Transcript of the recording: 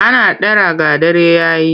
Ana dara ga dare ya yi.